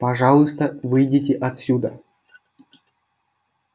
пожалуйста выйдите отсюда